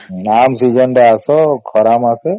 ଆମ season ରେ ଆସ ଖରା ମାସେ